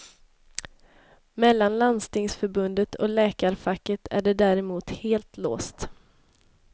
Mellan landstingsförbundet och läkarfacket är det däremot helt låst.